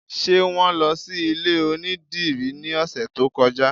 Ṣé wọn lọ sí ilé onídìrí ní ọ̀sẹ̀ tó kọjá?